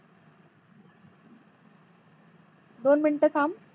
दोन मिनटे थांब